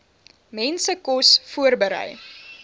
mense kos voorberei